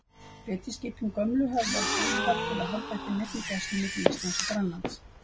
Beitiskipin gömlu höfðu ekki úthald til að halda uppi neinni gæslu milli Íslands og Grænlands.